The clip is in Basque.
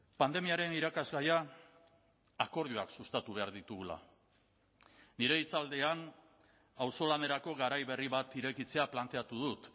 pandemiaren irakasgaia akordioak sustatu behar ditugula nire hitzaldian auzolanerako garai berri bat irekitzea planteatu dut